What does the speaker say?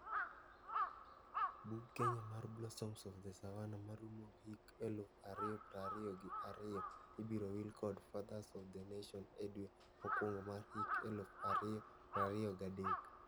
Bug Kenya mar 'Blossoms of The Savannah' maruomo hik eluf ario prario gi ario ibiro wil kod 'Fathers of The Nation' e dwe mokwongo mar hik eluf ario prario gadek.